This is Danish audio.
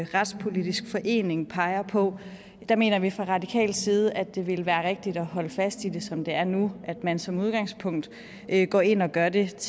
retspolitisk forening peger på der mener vi fra radikal side at det ville være rigtigt at holde fast i det som det er nu at man som udgangspunkt går ind og gør det